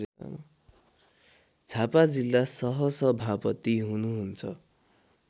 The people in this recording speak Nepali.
झापा जिल्ला सहसभापति हुनुहुन्छ